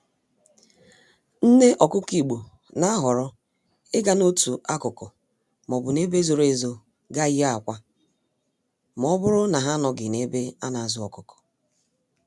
Nné Ọkụkọ Igbo n'ahọrọ ịga n'otu akụkụ m'obu n'ebe zoro ezo gaa yie akwa, mọbụrụ na ha anọghị n'ebe anazụ ọkụkọ